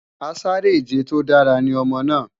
Asáré-ìje tó dára ní ọmọ náà